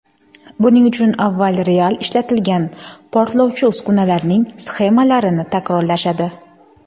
Buning uchun avval real ishlatilgan portlovchi uskunalarning sxemalarini takrorlashadi.